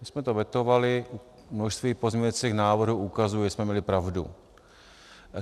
My jsme to vetovali, množství pozměňujících návrhů ukazuje, že jsme měli pravdu.